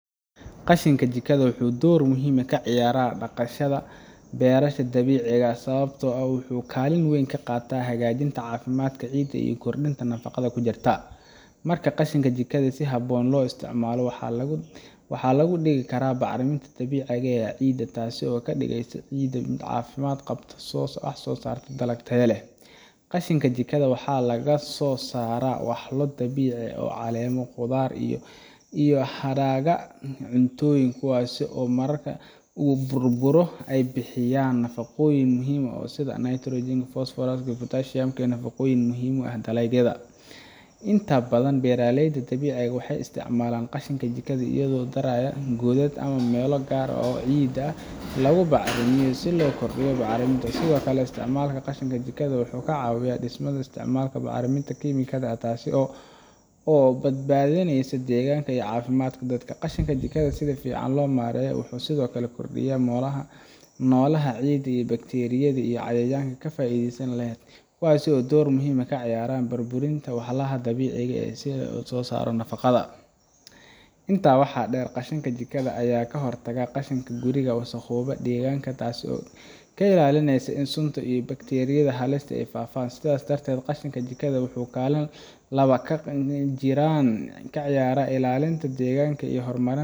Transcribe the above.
Qashinka jikada wuxuu door muhiim ah ka ciyaaraa dhaqamada beerashada dabiiciga ah, sababtoo ah wuxuu kaalin weyn ka qaataa hagaajinta caafimaadka ciidda iyo kordhinta nafaqada ku jirta. Marka qashinka jikada si habboon loo isticmaalo, waxaa laga dhigi karaa bacriminta dabiiciga ah ee ciidda, taas oo ka dhigaysa ciidda mid caafimaad qabta oo soo saarta dalag tayo leh. Qashinka jikada waxaa laga soo saaraa walxo dabiici ah sida caleemo, khudaar iyo hadhaaga cuntooyinka, kuwaas oo marka la burburiyo ay bixiyaan nafaqooyin muhiim ah sida nitrogen, fosfooraska iyo potassium oo ah nafaqooyin muhiim u ah dalagyada. Inta badan beeraleyda dabiiciga ah waxay isticmaalaan qashinka jikada iyagoo ku daraaya godad ama meelo gaar ah oo ciidda lagu bacrimiyo si loo kordhiyo bacriminta. Sidoo kale, isticmaalka qashinka jikada wuxuu ka caawiyaa dhimista isticmaalka bacriminta kiimikada ah, taas oo badbaadinaysa deegaanka iyo caafimaadka dadka. Qashinka jikada oo si fiican loo maareeyo wuxuu sidoo kale kordhiyaa noolaha ciidda sida bakteeriyada iyo cayayaanka faa’iidada leh, kuwaas oo door muhiim ah ka ciyaara burburinta walxaha dabiiciga ah iyo soo saarista nafaqada. Intaa waxaa dheer, qashinka jikada ayaa ka hortaga in qashinka guriga uu wasakhoobo deegaanka, taas oo ka ilaalinaysa in sunta iyo bakteeriyada halista ah ay faafaan. Sidaas darteed, qashinka jikada wuxuu kaalin laba jibaaran ka ciyaaraa ilaalinta deegaanka iyo horumarinta